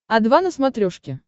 о два на смотрешке